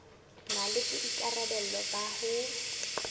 na le boikarabelo ba ho